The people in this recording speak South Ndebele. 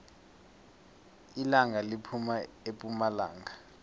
ilanga liphuma epumalanga